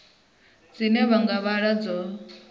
dzine vha nga vhala dzo